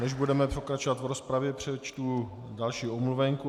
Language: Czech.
Než budeme pokračovat v rozpravě, přečtu další omluvenku.